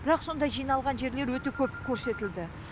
бірақ сондай жиналған жерлер өте көп көрсетілді